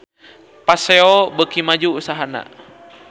Paseo beuki maju usahana